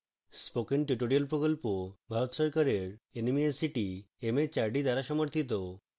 spoken tutorial প্রকল্প ভারত সরকারের nmeict mhrd দ্বারা সমর্থিত